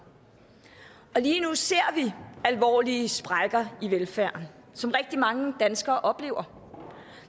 og lige nu ser vi alvorlige sprækker i velfærden som rigtig mange danskere oplever